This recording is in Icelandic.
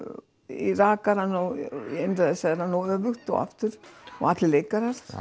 í rakarann og einræðisherrann og öfugt og og allir leikarar